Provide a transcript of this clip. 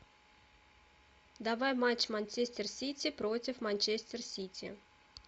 давай матч манчестер сити против манчестер сити